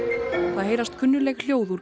það heyrast kunnugleg hljóð úr